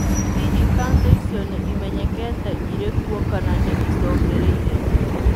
Hihi kanca ĩcio nĩ ĩmenyekete ĩrĩ kuo kana nĩ ĩcokereirie.